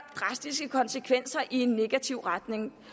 drastiske konsekvenser i negativ retning